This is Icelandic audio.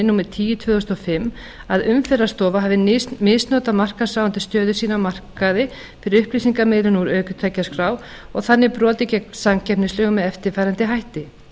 númer tíu tvö þúsund og fimm að umferðarstofa hafi misnotað markaðsráðandi stöðu sína á markaði fyrir upplýsingamiðlun úr ökutækjaskrá og þannig brotið gegn samkeppnislögum með eftirfarandi hætti